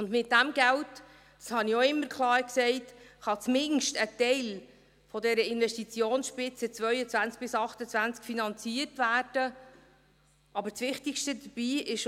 Mit diesem Geld – dies habe ich auch immer klar gesagt – kann zumindest ein Teil dieser Investitionsspitze 2022–2028 finanziert werden, aber das Wichtigste dabei ist: